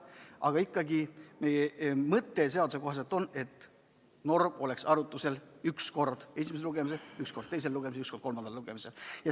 Aga ikkagi, seaduse kohaselt on mõte on see, et norm oleks arutusel üks kord esimesel lugemisel, üks kord teisel lugemisel ja üks kord kolmandal lugemisel.